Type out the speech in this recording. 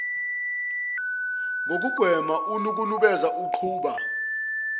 ngokugwema ukunukubeza uqhuba